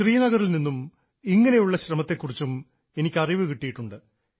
ശ്രീനഗറിൽ നിന്നും ഇങ്ങനെയുള്ള ശ്രമത്തെ കുറിച്ചും എനിക്ക് അറിവ് കിട്ടിയിട്ടുണ്ട്